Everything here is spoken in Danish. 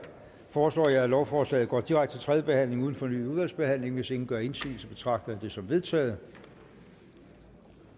foreslår jeg at lovforslaget går direkte til tredje behandling uden fornyet udvalgsbehandling hvis ingen gør indsigelse betragter jeg det som vedtaget